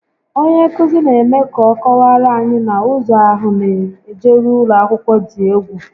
Onye nkụzi n'eme ka ọ kọwaara anyị na ụzọ ahụ n'ejeru ụlọakwụkwọ dị egwu